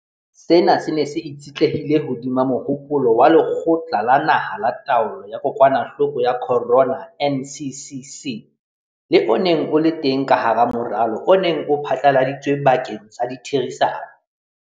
Sena se ne se itshetlehile hodima mohopolo wa Lekgotla la Naha la Taolo ya Kokwanahloko ya Corona, NCCC, le o neng o le teng ka hara moralo o neng o phatlaladitsweng bakeng sa ditherisano.